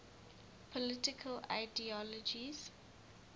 political ideologies